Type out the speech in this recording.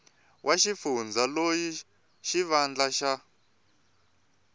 wa xifundza loyi xivandla xa